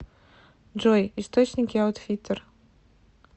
джой источники аутфиттер